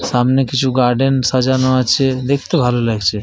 সামনে কিছু গার্ডেন সাজানো আছে। দেখতে ভালো লাগছে ।